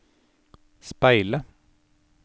speile